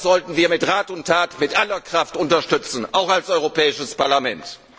Das sollten wir mit Rat und Tat, mit aller Kraft unterstützen, auch als Europäisches Parlament.